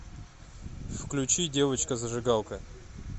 включи девочка зажигалка